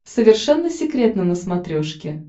совершенно секретно на смотрешке